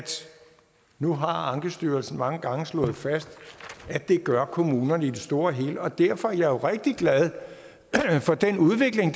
nu har ankestyrelsen mange gange slået fast at det gør kommunerne i det store hele og derfor er jeg jo rigtig glad for den udvikling